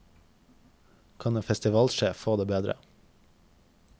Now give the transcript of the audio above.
Kan en festivalsjef få det bedre?